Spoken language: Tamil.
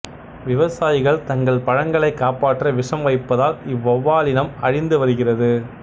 விவசாயிகள் தங்கள் பழங்களைக் காப்பாற்ற விஷம் வைப்பதால் இவ்வௌவாலினம் இனம் அழிந்து வருகிறது